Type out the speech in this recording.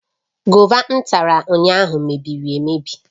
Gova m tara ụnyahụ mebiri emebi